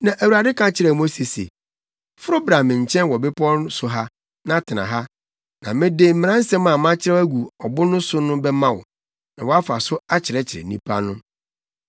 Na Awurade ka kyerɛɛ Mose se, “Foro bra me nkyɛn wɔ bepɔw so ha na tena ha, na mede mmaransɛm a makyerɛw agu ɔbo so no bɛma wo, na woafa so akyerɛkyerɛ nnipa no.”